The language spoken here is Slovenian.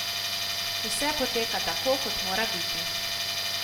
Vse poteka tako, kot mora biti.